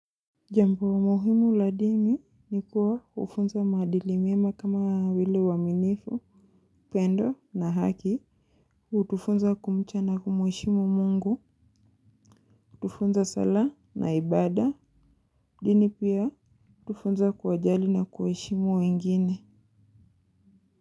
Jambu la muhimu la dini ni kuwa ufunza madili mema kama vile uaminifu, pendo na haki, utufunza kumcha na kumweshimu mungu, utufunza sala na ibada, dini pia utufunza kuwajali na kuwaeshimu wengine.